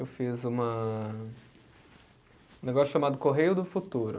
Eu fiz uma, um negócio chamado Correio do Futuro.